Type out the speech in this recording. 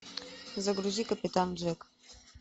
загрузи капитан джек